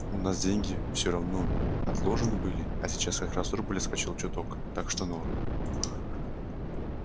у нас деньги всё равно отложены были а сейчас как раз рубль отскочил чуток так что норм